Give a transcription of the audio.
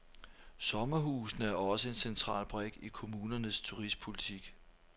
Sommerhusene er også en central brik i kommunernes turistpolitik.